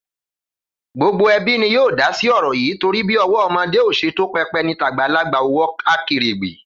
Gbogbo ẹbí ni yóò dásí ọ̀rọ̀ yìí torí bí ọwọ́ ọmọdé ò ṣe tó pẹpẹ ni tàgbàlagbà ò wọ akèrègbè